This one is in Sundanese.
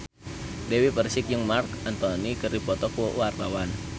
Dewi Persik jeung Marc Anthony keur dipoto ku wartawan